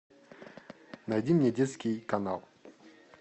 найди мне детский канал